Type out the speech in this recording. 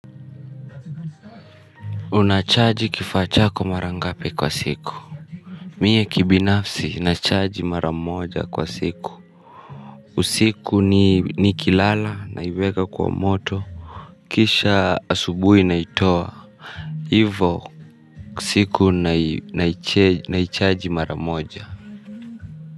Unachaji kifaa chako marangape kwa siku. Mie kibinafsi unachaji maramoja kwa siku. Usiku nikilala naiweka kwa moto. Kisha asubui naitoa. Hivo siku naichaji maramoja.